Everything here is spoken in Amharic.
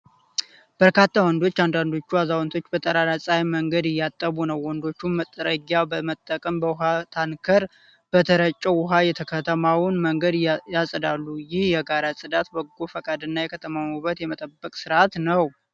በርካታ ወንዶች፣ አንዳንዶቹ አዛውንቶች በጠራራ ፀሐይ መንገድ እያጠቡ ነው። ወንዶቹ መጥረጊያ በመጠቀም በውሃ ታንከር በተረጨው ውሃ የከተማውን መንገድ ያጸዳሉ። ይህ የጋራ ጽዳት በጎ ፈቃድና የከተማን ውበት የመጠበቅ ስርአት ነው፡፡